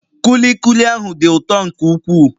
Kulikuli ahụ dị ụtọ nke ukwuu